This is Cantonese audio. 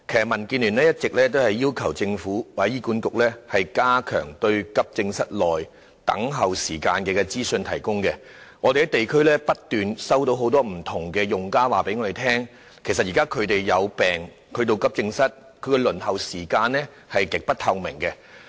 民建聯一直要求政府或醫管局加強提供有關急症室內輪候時間的資訊，我們在地區收到很多不同用家反映，指現時當他們到急症室求診時，他們要輪候的時間是極不透明的。